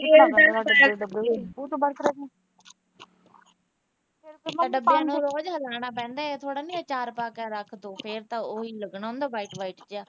ਡੱਬੇ ਨੂੰ ਰੋਜ ਹਿਲਾਉਣਾ ਪੈਂਦਾ ਇਹ ਥੋੜਾ ਨਾ ਅਚਾਰ ਪਾ ਕੇ ਰੱਖ ਤੇ ਫਿਰ ਤਾਂ ਉਹ ਲੱਗਣਾ ਨਹੀਂ ਨਾ ਬਾਯੀਟ ਬਾਯੀਟ ਜਿਹਾ।